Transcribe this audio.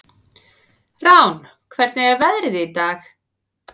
Rán, hvernig er veðrið í dag?